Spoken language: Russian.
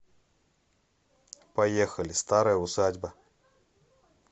поехали старая усадьба